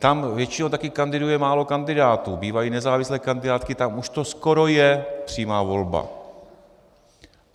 Tam většinou taky kandiduje málo kandidátů, bývají nezávislé kandidátky, tam už to skoro je přímá volba.